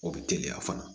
O bɛ teliya fana